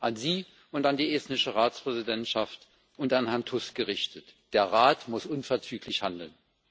An Sie und an die estnische Ratspräsidentschaft und an Herrn Tusk gerichtet Der Rat muss unverzüglich handeln!